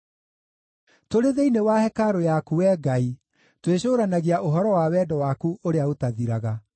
Tũrĩ thĩinĩ wa hekarũ yaku, Wee Ngai, twĩcũũranagia ũhoro wa wendo waku ũrĩa ũtathiraga.